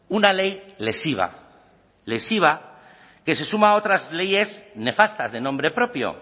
una ley lesiva lesiva que se suma a otras leyes nefastas de nombre propio